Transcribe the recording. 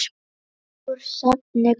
Úr safni GÓ.